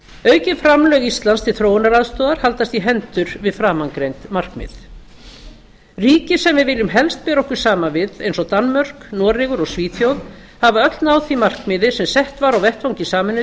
aukin framlög íslands til þróunaraðstoðar haldast í hendur við framangreind markmið ríki sem við viljum helst bera okkur saman við eins og danmörk noregur og svíþjóð hafa öll náð því markmiði sem sett var á vettvangi sameinuðu